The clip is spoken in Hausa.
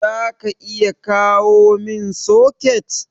zaka iya kawomin soket?